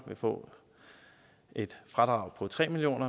vil få et fradrag på tre million